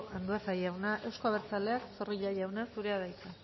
andueza jauna euzko abertzaleak zorrilla jauna zurea da hitza